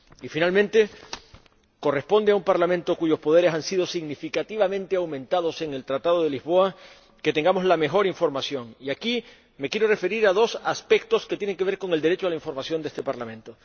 Por último, corresponde a un Parlamento cuyos poderes han sido significativamente aumentados en el Tratado de Lisboa que dispongamos de la mejor información y aquí me quiero referir a dos aspectos que tienen que ver con el derecho a la información de este Parlamento.